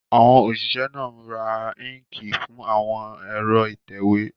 Àwọn òṣìṣẹ́ náà ra íńkì fún àwọn ẹ̀rọ ìtẹ̀wé.